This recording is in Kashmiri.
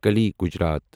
کالی گجرات